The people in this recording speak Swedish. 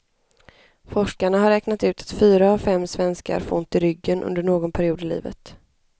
Forskarna har räknat ut att fyra av fem svenskar får ont i ryggen under någon period i livet.